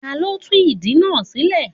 Ta ló tú ìdí náà sílẹ̀.?